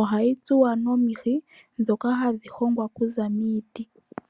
Ohayi tsuwa nomihi ndhoka hadhi hongwa okuza miiti.